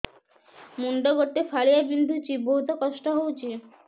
ମୁଣ୍ଡ ଗୋଟେ ଫାଳିଆ ବିନ୍ଧୁଚି ବହୁତ କଷ୍ଟ ହଉଚି